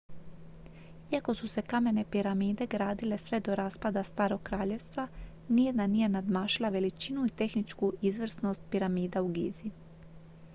iako su se kamene piramide gradile sve do raspada starog kraljevstva nijedna nije nadmašila veličinu i tehničku izvrsnost piramida u gizi